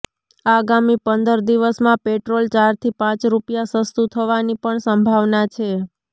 આગામી પંદર દિવસમાં પેટ્રોલ ચારથી પાંચ રૂપિયા સસ્તુ થવાની પણ સંભાવના છે